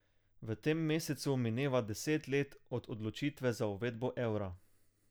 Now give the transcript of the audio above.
V tem mesecu mineva deset let od odločitve za uvedbo evra.